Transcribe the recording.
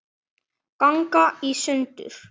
ganga í sundur